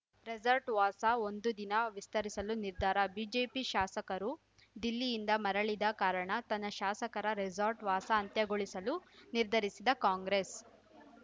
resort ವಾಸ ಒಂದು ದಿನ ವಿಸ್ತರಿಸಲು ನಿರ್ಧಾರ ಬಿಜೆಪಿ ಶಾಸಕರು ದಿಲ್ಲಿಯಿಂದ ಮರಳಿದ ಕಾರಣ ತನ್ನ ಶಾಸಕರ ರೆಸಾರ್ಟ್‌ ವಾಸ ಅಂತ್ಯಗೊಳಿಸಲು ನಿರ್ಧರಿಸಿದ್ದ ಕಾಂಗ್ರೆಸ್‌